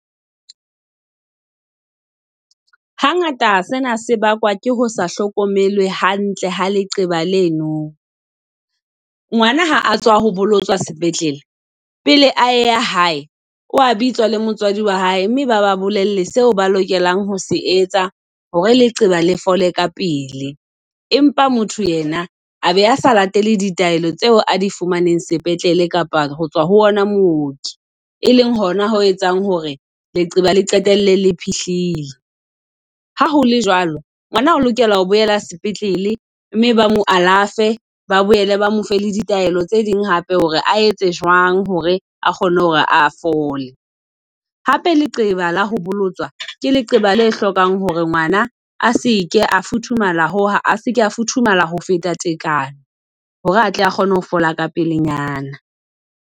Hangata sena se bakwa ke ho sa hlokomelwe hantle ha leqeba leno. Ngwana ha a tswa ho bolotswa sepetlele pele a ya hae, wa bitswa le motswadi wa hae. Mme baba bolelle seo ba lokelang ho se etsa hore leqeba le fole ka pele. Empa motho yena a be a sa latele ditaelo tseo a di fumaneng sepetlele kapa ho tswa ho ona mooki. E leng hona ho etsang hore leqeba le qetelle le phiihlile. Ha hole jwalo ngwana o lokela ho boela sepetlele mme ba mo alafe. Ba boele ba mo fe la ditaelo tse ding hape, hore a etse jwang hore a kgone hore a fole. Hape leqeba la ho bolotswa ke leqeba lehlokang hore ngwana a se ke a futhumala ho , a se ke afuthumala ho feta tekanyo. Hore atle a kgone ho fola ka pelenyana.